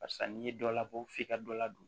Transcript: Barisa n'i ye dɔ labɔ f'i ka dɔ ladon